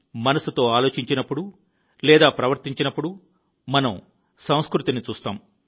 మనస్సుతో ఆలోచించినప్పుడు లేదా ప్రవర్తించినప్పుడు మనం సంస్కృతిని చూస్తాము